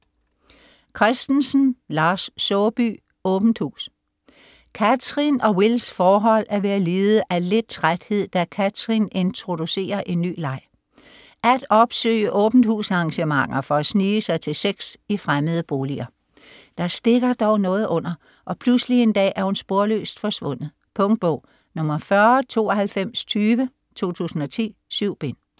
Christensen, Lars Saabye: Åbent hus Cathrin og Wills forhold er ved at lide af lidt træthed, da Cathrin introducerer en ny leg: at opsøge åbent-hus-arrangementer for at snige sig til sex i fremmede boliger. Der stikker dog noget under, og pludselig en dag er hun sporløst forsvundet. Punktbog 409220 2010. 7 bind.